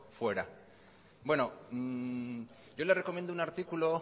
fuera bueno yo le recomiendo una artículo